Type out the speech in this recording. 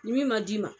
Ni min ma d'i ma